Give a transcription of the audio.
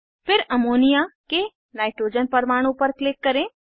फिर अमोनिया के नाइट्रोजन परमाणु पर क्लिक करें